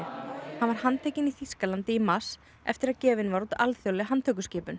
hann var handtekinn í Þýskalandi í mars eftir að gefin var út alþjóðleg handtökuskipun